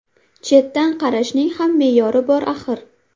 Chetdan qarashning ham me’yori bor axir.